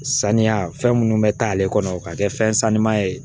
Saniya fɛn minnu bɛ taa ale kɔnɔ ka kɛ fɛn sanuma ye